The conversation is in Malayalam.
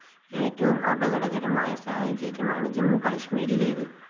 ഏറ്റവും അപകടകരമായ സാഹചര്യമാണ് ജമ്മു കശ്മീരിലേത്